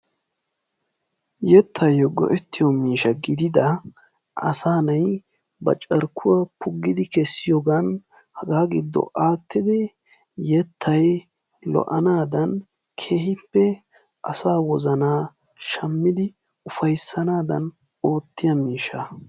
Yettaayoo go"ettiyoo miishsha gidida asaa na'ay ba carkkuwaa punggidi kessiyoogan hagaa giddo aattidi yettay lo"aanadan keehippe asaa wozanaa shammidi ufayssanaadan oottiyaa miishshaa.